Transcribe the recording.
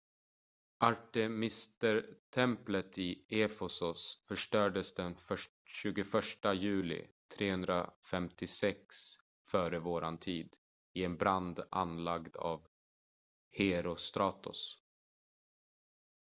artemistemplet i efesos förstördes den 21 juli 356 f.v.t. i en brand anlagd av herostratos